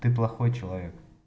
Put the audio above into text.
ты плохой человек